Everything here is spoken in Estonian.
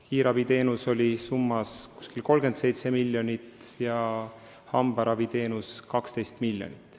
Kiirabiteenuse summa on umbes 37 miljonit ja hambaraviteenuse summa 12 miljonit.